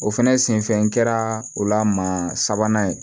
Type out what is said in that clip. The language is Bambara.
O fɛnɛ senfɛ n kɛra o la maa sabanan ye